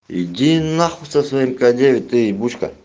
иди на хуй со своим к девять ты ебучка